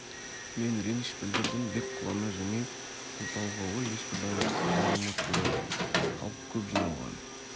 мен реніш білдірдім бек қулана жымиып бұл талқылауға ешбір дайындықсыз баруыма тура келді халық көп жиналған